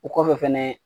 O kɔfɛ fɛnɛ